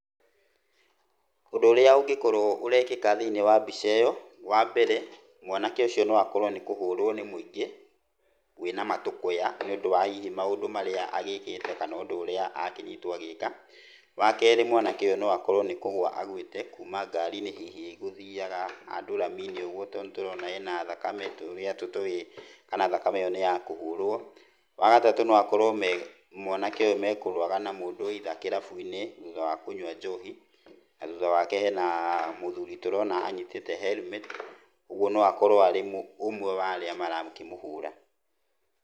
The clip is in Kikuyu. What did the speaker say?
Ũndũ ũrĩa ũngĩkorwo ũrekĩka thĩinĩ wa mbica-inĩ ĩyo wa mbere mwanake ũcio no akorwo nĩ kũhũrwo nĩ mũingĩ wĩna matũkũya niũndũ wa hihi maũndũ marĩa agĩkĩte kana ũndũ ũrĩa akĩnyitwo agĩka. Wa kerĩ mwanake ũyũ no akorwo nĩ kũgũa agũĩte kuma ngariinĩ hihi ĩgũthiaga handũ raminĩ ũguo tondũ nĩ tũrona ena ĩrĩa tũtoĩ kana thakame ĩyo nĩ ya kũhũrwo. Wa gatatũ no akorwo me mwanake ũyũ mekũrũaga na mũndũ either kĩrabuinĩ thutha wa kũnyua njohi, na thutha wake hena mũthuri tũrona anyitĩte helmet ũguo no akorwo arĩ ũmwe wa arĩa marakĩmũhũra.